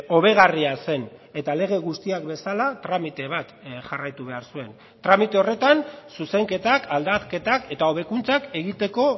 hobegarria zen eta lege guztiak bezala tramite bat jarraitu behar zuen tramite horretan zuzenketak aldaketak eta hobekuntzak egiteko